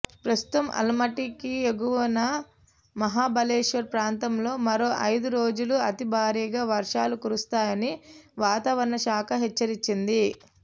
ప్రస్తుతం అల్మట్టికి ఎగువున మహాబలేశ్వర్ ప్రాంతంలో మరో ఐదు రోజులు అతి భారీగా వర్షాలు కురుస్తాయని వాతావరణ శాఖ హెచ్చరించింది